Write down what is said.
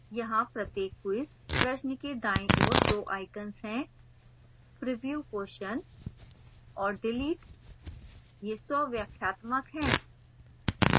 यहाँ प्रत्येक quiz प्रश्न के दायीं ओर 2 icons हैं: preview question और delete ये स्वव्याख्यात्मक हैं